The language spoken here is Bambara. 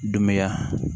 Dunbeya